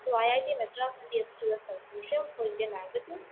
to it Madras conclusion‍ for‍ Indian‍ languages